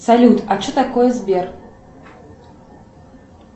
салют а че такое сбер